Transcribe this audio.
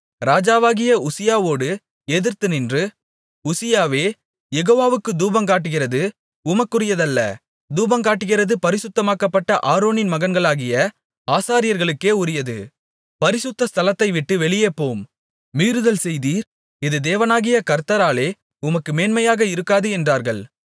ராஜாவாகிய உசியாவோடு எதிர்த்து நின்று உசியாவே யெகோவாவுக்குத் தூபங்காட்டுகிறது உமக்குரியதல்ல தூபங்காட்டுகிறது பரிசுத்தமாக்கப்பட்ட ஆரோனின் மகன்களாகிய ஆசாரியர்களுக்கே உரியது பரிசுத்த ஸ்தலத்தை விட்டு வெளியே போம் மீறுதல் செய்தீர் இது தேவனாகிய கர்த்தராலே உமக்கு மேன்மையாக இருக்காது என்றார்கள்